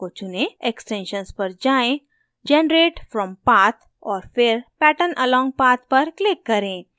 extensions पर जाएँ generate from path और फिर pattern along path पर click करें